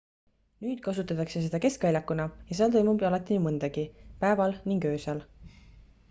nüüd kasutatakse seda keskväljakuna ja seal toimub alati nii mõndagi päeval ning öösel